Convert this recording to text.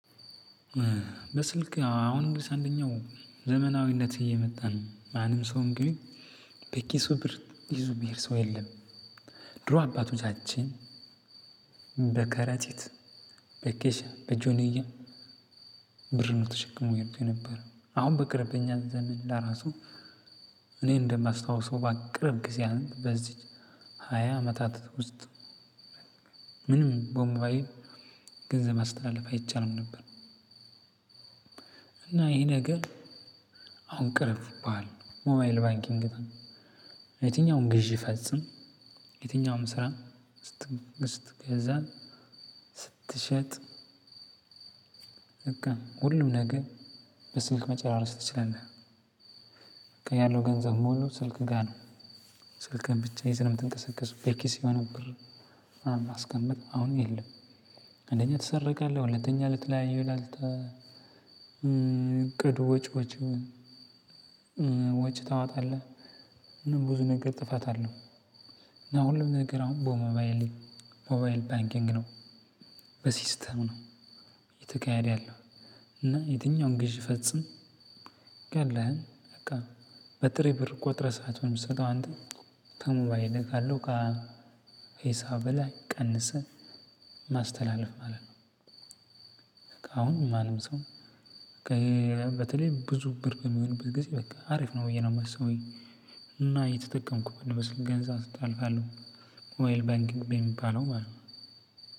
በስልክ አሁን እንግዲህ አንደኛው ዘመናዊነት እየመጣ ነው ማንም ሰው እንግዲህ በኪሱ ብር ይዚ የሚሄድ ሰው የለም። ድሮ አባቶቻችን በከረጢት በኬሻ በጆንያ ብር ነው ተሸክመው ይሄዱ የነበረው አሁን በቅርብ በእኛ ዘመን ለራሱ እኔ እንደማስታውሰው በቅርብ ጊዜ በዚች ሃያ አመታት ውስጥ ምንም በሞባይል ገንዘብ ማስተላለፍ አይቻልም ነበር። እና ይሄ ነገር አሁን ቅርብ ሞባይል ባንኪንግ የትኛውም ግዢ ፈጽም የትኛውንም ስራ ስትገዛ ስትሸጥ በቃ ሁሉም ነገር በስልክ መጨራረስ ትችላለህ። በቃ ያለው ገንዘብ ሙሉ ስልክ ጋር ነው። ስልክህን ብቻ ይዘህ ነው የምትንቀሳቀሰው በኪስህ የሆነ ብር ምናምን ማስቀመጥ አሁን የለም። አንደኛ ትሰረቃለህ ሁለተኛ ለተለያየ ላልት እቅድ ወጪዎች ወጪ ታወጣለህ ብዙ ነገር ጥፋት አለው። እና ሁሉም ነገር አሁን በሞባይል ሞባይል ባንኪንግ ነው። በሲስተም ነው። እየተካሄድ ያለው እና የትኛውም ግዢ ፈጽም ያለህን በቃ በጥሬ ብር ቆጥረህ ሳትሆን የምትሰጠው አንት ከሞባይልህ ካለው ከሂሳብህ ላይ ቀንሰህ ማስተላለፍ ማለት ነው። አሁን ማንም ሰው በተለይ ብዙ ብር በሚሆንበት ጊዜ በቃ አሪፍ ነው ብዬ ነው የማስበው። እና እየተጠቀምኩበት ነው በስልክ ገንዘብ እጣልፋለሁ ሞባይል ባንኪንግ በሚባለው ማለት ነው።